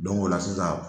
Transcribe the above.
o la sisan